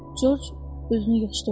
George özünü yığışdırdı.